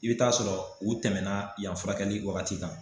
I bɛ t'a sɔrɔ u tɛmɛna yan furakɛli wagati kan